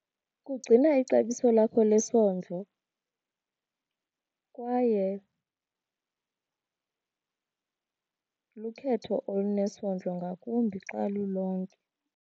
Kugcina ixabiso lakho lesondlo kwaye lukhetho olunesondlo ngakumbi xa lulonke.